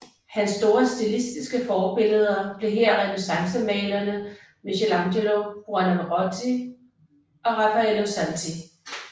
Hans store stilistiske forbilleder blev her renæssancemalerne Michelangelo Buonarroti og Raffaello Santi